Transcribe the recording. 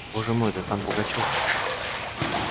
боже мой да там пугачёв